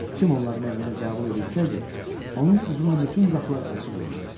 Kim onların evində qəbul edilsəydi, onun üzünə bütün qapılar açıq olurdu.